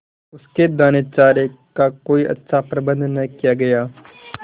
उसके दानेचारे का कोई अच्छा प्रबंध न किया गया